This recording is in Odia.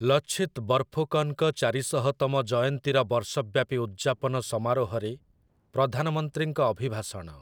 ଲଛିତ୍ ବର୍ଫୁକନ୍‌ଙ୍କ ଚାରିଶହତମ ଜୟନ୍ତୀର ବର୍ଷବ୍ୟାପୀ ଉଦ୍‌ଯାପନ ସମାରୋହରେ ପ୍ରଧାନମନ୍ତ୍ରୀଙ୍କ ଅଭିଭାଷଣ ।